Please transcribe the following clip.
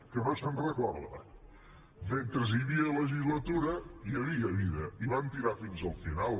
que no se’n recorda mentre hi havia legislatura hi havia vida i van tirar fins al final